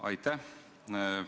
Aitäh!